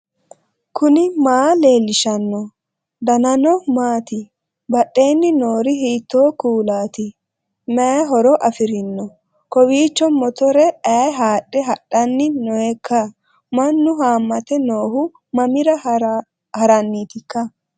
knuni maa leellishanno ? danano maati ? badheenni noori hiitto kuulaati ? mayi horo afirino ? kowiicho motorra aye haadhe hadhanni nooiikka mannu haammate noohu mammira haranniitika